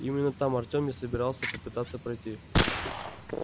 именно там артем и собирался попытаться пройти